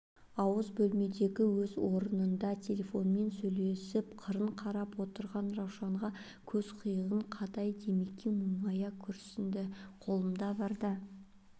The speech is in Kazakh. ауыз бөлмедегі өз орынында телефонмен сөйлесіп қырын қарап отырған раушанға көз қиығын қадай димекең мұңая күрсінді қолымда барда